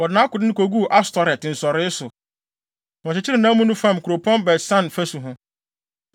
Wɔde nʼakode no koguu Astoret nsɔree so, na wɔkyekyeree nʼamu no fam kuropɔn Bet-San fasu ho.